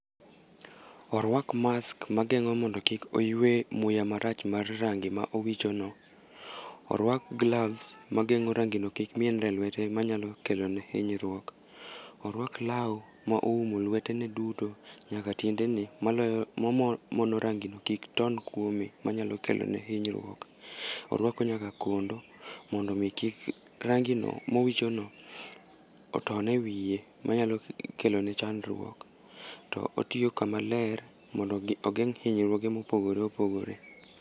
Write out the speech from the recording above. Orwak mask magengó mondo kik oywe muya marach mar rangi ma owichono. Orwak gloves magengó rangino kik mienre e lwete, manyalo kelone hinyruok. Orwak lau, ma oumo lwetene duto, nyaka tiendene maloyo mamono rangino kik ton kuome, manyalo kelone hinyruok. Orwako nyaka kondo mondo kik rangino, mowichono oton e wiye, manyalo kelone chandruok. To otiyo kama ler mondo ogeng' hinyruoge mopogore opogore.